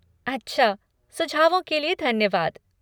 अच्छा, सुझावों के लिए धन्यवाद!